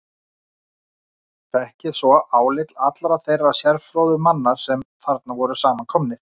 Fékk ég svo álit allra þeirra sérfróðu manna, sem þarna voru samankomnir.